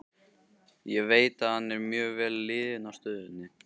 Ég veit að hann er mjög vel liðinn á stöðinni.